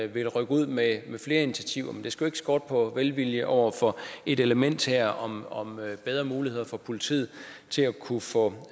vil rykke ud med flere initiativer men det skal jo ikke skorte på velvilje over for et element her om om bedre muligheder for politiet til at kunne få